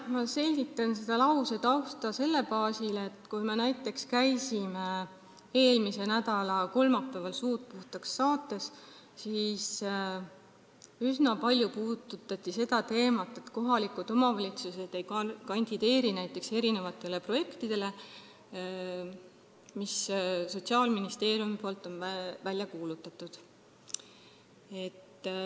Ma selgitan selle lause tausta selle baasil, et kui me näiteks käisime eelmise nädala kolmapäeval saates "Suud puhtaks", siis üsna palju puudutati seda teemat, et kohalikud omavalitsused näiteks ei kandideeri, et osaleda projektides, mis Sotsiaalministeerium on välja kuulutanud.